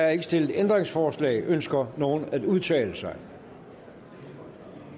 er ikke stillet ændringsforslag ønsker nogen at udtale sig